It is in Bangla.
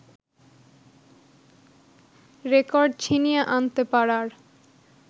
রেকর্ড ছিনিয়ে আনতে পারার